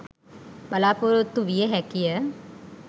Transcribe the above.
බලාපොරොත්තු විය හැකිය.